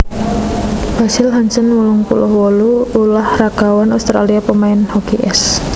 Basil Hansen wolung puluh wolu ulah ragawan Australia pamain hoki ès